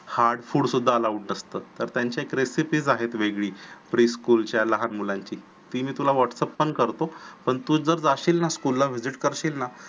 hard food सुद्धा allowed नसत तर त्यांच्या recipes असतात वेगळी pre school च्या लहान मुलांची ती मी तुला whatsapp पण करतो पण तू जर जाशील ना school ला school ला visit करशील ना